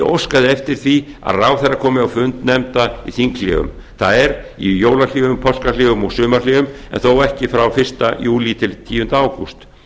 óskað eftir því að ráðherra komi á fundi nefnda í þinghléum það er í jólahléum páskahléum og sumarhléum en þó ekki frá fyrsta júlí til tíunda ágúst